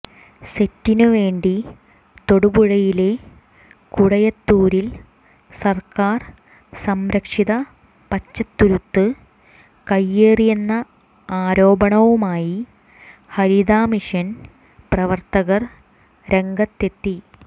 സെറ്റിനുവേണ്ടി തൊടുപുഴയിലെ കുടയത്തൂരിൽ സർക്കാർ സംരക്ഷിത പച്ചത്തുരുത്ത് കൈയ്യേറിയെന്ന ആരോപണവുമായി ഹരിത മിഷൻ പ്രവർത്തകർ രംഗത്തെത്തി